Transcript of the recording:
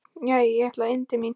Jæja, ég ætla inn til mín.